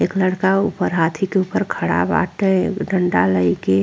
एक लड़का ऊपर हाथी के ऊपर खड़ा बाटे एगो डंडा लइके।